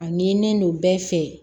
A ɲinilen don bɛɛ fɛ